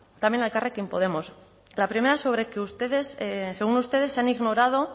también a elkarrekin podemos la primera sobre que ustedes según ustedes se han ignorado